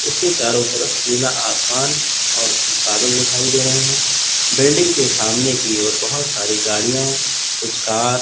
इसके चारों तरफ नीला आसमान और कुछ बदल दिखाई दे रहे हैं बिल्डिंग के सामने की ओर बहोत सारी गाड़ियां कुछ कार--